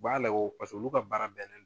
U b'a la o olu ka baara bɛnnen